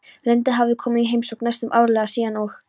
Linda hafði komið í heimsókn næstum árlega síðan og